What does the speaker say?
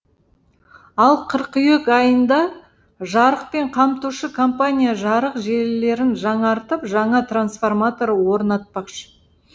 ал қыркүйек айында жарықпен қамтушы компания жарық желілерін жаңартып жаңа трансформатор орнатпақшы